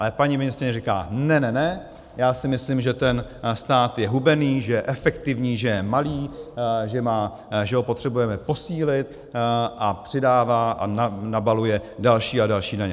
Ale paní ministryně říká ne, ne, ne, já si myslím, že ten stát je hubený, že je efektivní, že je malý, že ho potřebujeme posílit, a přidává a nabaluje další a další daně.